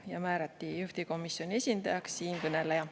Ja juhtivkomisjoni esindajaks määrati siinkõneleja.